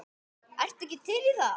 Ertu ekki til í það?